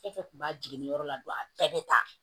Fɛn fɛn kun b'a jigin nin yɔrɔ la don a bɛɛ bɛ ta